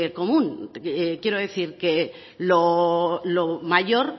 común quiero decir que lo mayor